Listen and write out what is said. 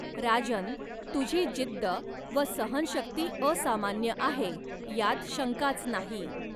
राजन्, तुझी जिद्द व सहनशक्ती असामान्य आहे यात शंकाच नाही.